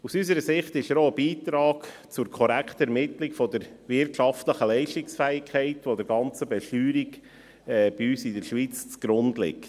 Aus unserer Sicht ist er auch ein Beitrag zur korrekten Ermittlung der wirtschaftlichen Leistungsfähigkeit, die der ganzen Besteuerung bei uns in der Schweiz zugrunde liegt.